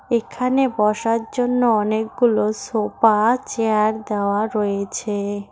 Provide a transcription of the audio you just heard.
এখানে বসার জন্য অনেকগুলো সোফা চেয়ার দেওয়া রয়েছে।